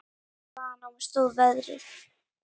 Hvaðan á mig stóð veðrið.